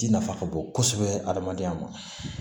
Ji nafa ka bon kosɛbɛ adamadenya ma